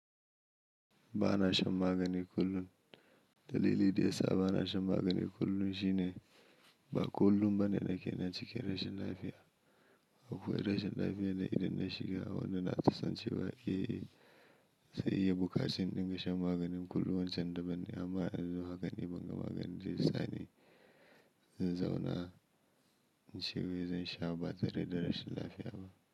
Bana shan magani kullun. Dalili daya sa bana shan maganin kullum shine ba kullum bane na ke nan cikin rashin lafiya. Akoi rashin lafiya na idan na shiga wannan asibitin ce baƙi. Sai ya buƙaci in dinga shan maganin kullum wancan da ban ne amma a yanzu hakan ni ban, maganin da zai sani. Zanzauna ince me zan sha ba tare da rashin lafiya ba.